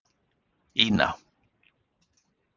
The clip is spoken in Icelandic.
Ína